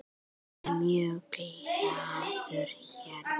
Ég er mjög glaður hérna.